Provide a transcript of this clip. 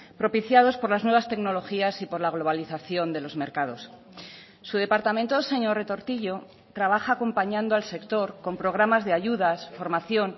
propiciados por las nuevas tecnologías y por la globalización de los mercados su departamento señor retortillo trabaja acompañando al sector con programas de ayudas formación